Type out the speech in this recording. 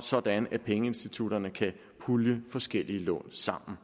sådan at pengeinstitutterne kan pulje forskellige lån sammen